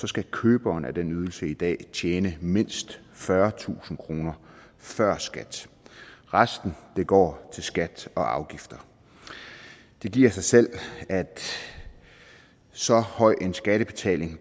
skal køberen af den ydelse i dag tjene mindst fyrretusind kroner før skat resten går til skat og afgifter det giver sig selv at så høj en skattebetaling